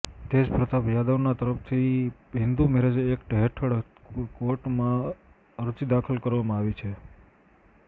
તેજપ્રતાપ યાદવના તરફથી Hindu marriage act હેઠળ કોર્ટમાં અરજી દાખલ કરવામાં આવી છે